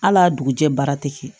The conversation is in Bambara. Hal'a dugujɛ baara ti kɛ